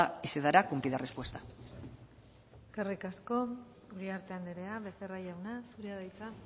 y se dará cumplida respuesta eskerrik asko uriarte andrea becerra jauna zurea da hitza